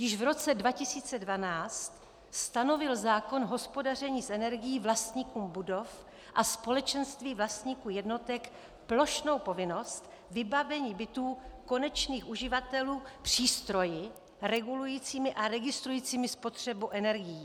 Již v roce 2012 stanovil zákon o hospodaření energií vlastníkům budov a společenství vlastníků jednotek plošnou povinnost vybavení bytů konečných uživatelů přístroji regulujícími a registrujícími spotřebu energií.